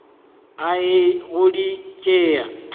a eya go di tšea